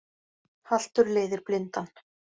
Haltur leiðir blindan